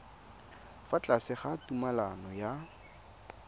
fa tlase ga tumalano ya